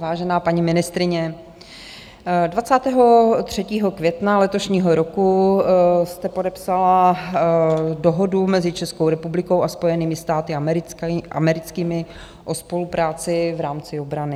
Vážená paní ministryně, 23. května letošního roku jste podepsala Dohodu mezi Českou republikou a Spojenými státy americkými o spolupráci v rámci obrany.